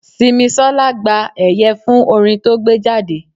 Simisola gba ẹ̀yẹ fún orin to gbé jáde.